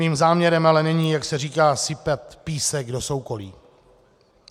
Mým záměrem ale není, jak se říká, sypat písek do soukolí.